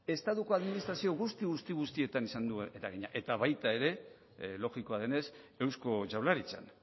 estatuko administrazio guztietan izan du eragina eta baita ere logikoa denez eusko jaurlaritzan